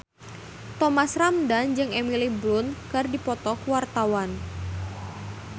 Thomas Ramdhan jeung Emily Blunt keur dipoto ku wartawan